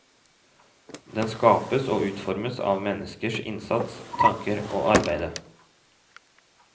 Den skapes og utformes av menneskers innsats, tanker og arbeide.